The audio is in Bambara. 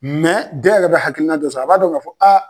den yɛrɛ be hakilina sɔrɔ a b'a dɔn k kaa fɔ aa.